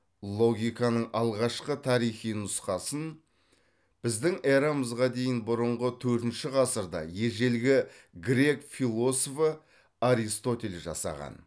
логиканың алғашқы тарихи нұсқасын біздің эрамызға дейін бұрынғы төртінші ғасырда ежелгі грек философы аристотель жасаған